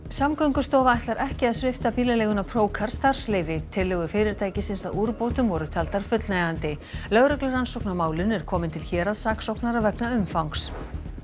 Samgöngustofa ætlar ekki að svipta bílaleiguna Procar starfsleyfi tillögur fyrirtækisins að úrbótum voru taldar fullnægjandi lögreglurannsókn á málinu er komin til héraðssaksóknara vegna umfangs